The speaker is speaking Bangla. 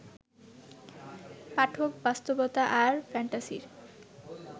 পাঠক বাস্তবতা আর ফ্যান্টাসির